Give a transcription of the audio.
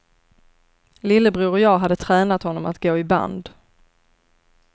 Lillebror och jag hade tränat honom att gå i band.